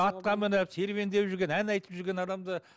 атқа мініп серуендеп ән айтып жүрген адамды